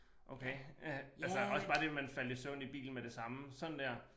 Okay øh altså også bare det med man faldt i bilen med det samme sådan der